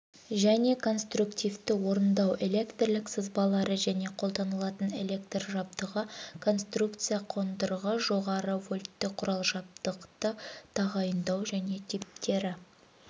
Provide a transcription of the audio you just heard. және конструктивті орындау электрлік сызбалары және қолданылатын электр жабдығы конструкция қондырғы жоғары вольтті құрал жабдықты тағайындау және типтері